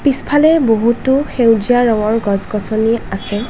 পিছফালে বহুতো সেউজীয়া ৰঙৰ গছ-গছনি আছে |